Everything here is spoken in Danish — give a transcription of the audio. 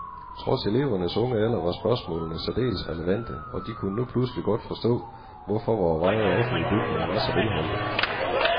Trods elevernes unge alder var spørgsmålene særdeles relevante, og de kunne nu pludselig godt forstå, hvorfor vore veje og offentlige bygninger var så velholdte.